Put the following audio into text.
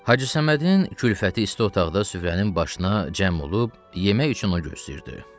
Hacı Səmədin külfəti isti otaqda süfrənin başına cəm olub, yemək üçün onu gözləyirdi.